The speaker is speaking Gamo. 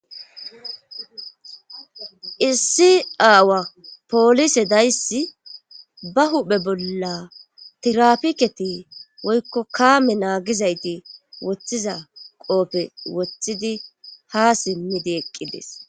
issi aawa polise dayssi ba huphe bolla tirapiketi woykko kaame naagizayti woththiza qoofe wothidi ha simmidi eqqides